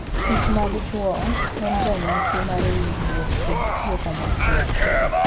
Kichmag chwoyo en ranyisi mar winjruok kod tiyo kanyachiel.